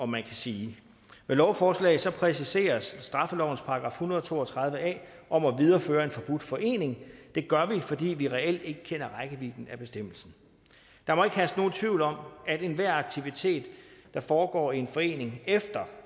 man sige med lovforslaget præciseres straffelovens § en hundrede og to og tredive a om at videreføre en forbudt forening det gør vi fordi vi reelt ikke kender rækkevidden af bestemmelsen der må ikke herske nogen tvivl om at enhver aktivitet der foregår i en forening efter